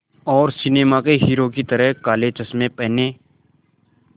और सिनेमा के हीरो की तरह काले चश्मे पहने